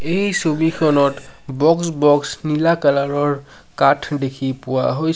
এই ছবিখনত box box নীলা কালাৰৰ কাঠ দেখি পোৱা হৈ --